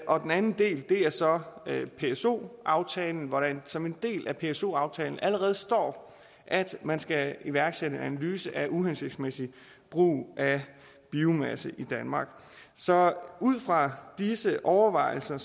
og den anden del er så pso aftalen hvor der som en del af pso aftalen allerede står at man skal iværksætte en analyse af uhensigtsmæssig brug af biomasse i danmark så ud fra disse overvejelser